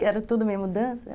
Que era tudo minha mudança.